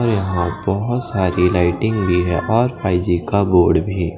अ यहां बहोत सारी लाइटिंग भी है और फाई जी का बोर्ड भी--